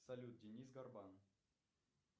салют денис горбан